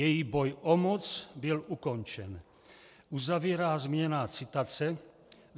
Její boj o moc byl ukončen," uzavírá zmíněná citace.